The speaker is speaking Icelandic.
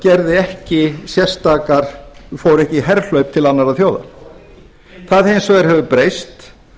fór ekki í herför til annarra þjóða það hins vegar hefur breyst